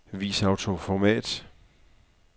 Vis autoformat.